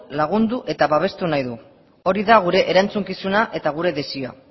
lagundu eta babestu nahi du hori da gure erantzukizuna eta gure desioa